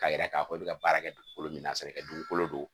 K'a yira k'a fɔ i bɛ ka baara kɛ dugukolo min na a bɛ kɛ dugukolo don